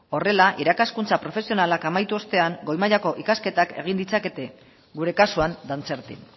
horrela irakaskuntza profesionalak amaitu ostean goi mailako ikasketak egin ditzakete gure kasuan dantzertin